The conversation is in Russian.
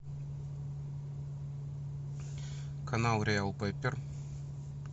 канал реал пеппер